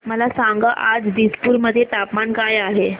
मला सांगा आज दिसपूर मध्ये तापमान काय आहे